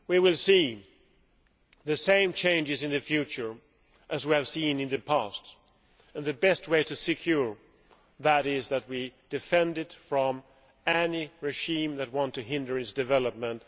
We will see the same changes in the future as we have seen in the past and the best way to secure the internet is that we defend it against any regime that wants to hinder its development.